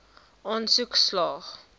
aansoek slaag